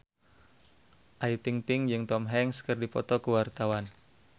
Ayu Ting-ting jeung Tom Hanks keur dipoto ku wartawan